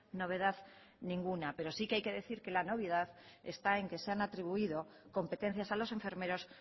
novedad ninguna pero sí que hay que decir que la novedad está en que se han atribuido competencias a los enfermeros